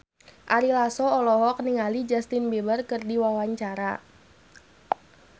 Ari Lasso olohok ningali Justin Beiber keur diwawancara